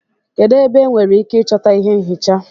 Kedu ebe enwere ike ịchọta ihé nchịcha?